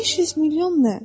500 milyon nə?